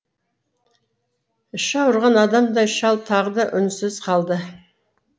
іші ауырған адамдай шал тағы үнсіз қалды